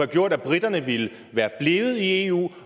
gjort at briterne ville være blevet i eu